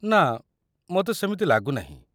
ନା, ମୋତେ ସେମିତି ଲାଗୁନାହିଁ।